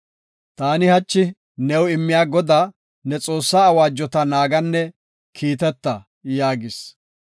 Ta hachi new immiya Godaa, ne Xoossaa awaajota naaganne kiiteta” yaagis.